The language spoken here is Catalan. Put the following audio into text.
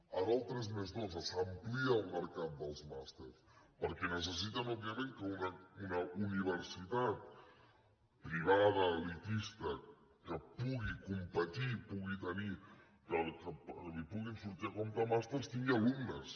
ara el tres+dos s’amplia el mercat dels màsters perquè necessiten òbviament que una universitat privada elitista que pugui competir que li puguin sortir a compte màsters tingui alumnes